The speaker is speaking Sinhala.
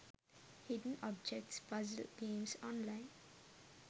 hidden objects puzzle games online